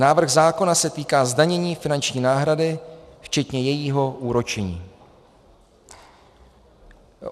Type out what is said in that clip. Návrh zákona se týká zdanění finanční náhrady včetně jejího úročení.